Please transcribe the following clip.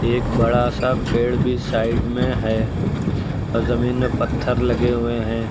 एक बड़ा सा पेड़ भी साइड में है और जमीन में पत्थर लगे हुए हैं।